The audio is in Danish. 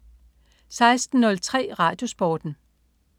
16.03 RadioSporten